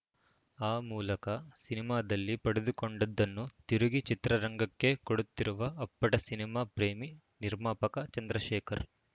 ಆ ಮೂಲಕ ಸಿನಿಮಾದಲ್ಲಿ ಪಡೆದುಕೊಂಡಿದ್ದನ್ನು ತಿರುಗಿ ಚಿತ್ರರಂಗಕ್ಕೇ ಕೊಡುತ್ತಿರುವ ಅಪ್ಪಟ ಸಿನಿಮಾ ಪ್ರೇಮಿ ನಿರ್ಮಾಪಕ ಚಂದ್ರಶೇಖರ್‌